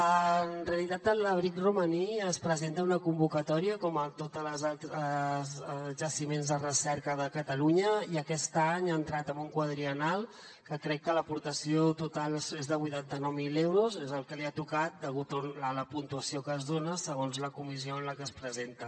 en realitat l’abric romaní es presenta a una convocatòria com tots els altres jaciments de recerca de catalunya i aquest any ha entrat en un quadriennal que crec que l’aportació total és de vuitanta nou mil euros és el que li ha tocat degut a la puntuació que es dona segons la comissió en la que es presenta